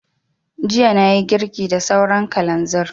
Jiya na yi girki da sauran kalanzir